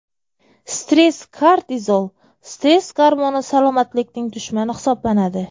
Stress Kortizol stress gormoni salomatlikning dushmani hisoblanadi.